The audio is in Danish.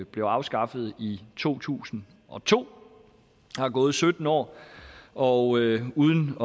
blev afskaffet i to tusind og to der er gået sytten år og uden